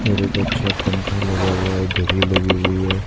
और एक अच्छा पंखा लगा हुआ है घड़ी लगी हुई है।